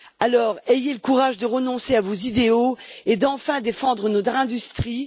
Alors, ayez le courage de renoncer à vos idéaux et, enfin, de défendre notre industrie.